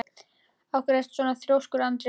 Af hverju ertu svona þrjóskur, Andríana?